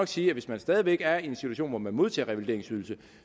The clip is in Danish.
sige at hvis man stadig væk er i en situation hvor man modtager revalideringsydelse